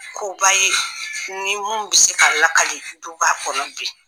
Koba ye ni min bɛ se ka lakali duba kɔnɔ bi